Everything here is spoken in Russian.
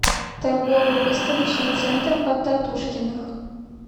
торгово выставочный центр потатушкиных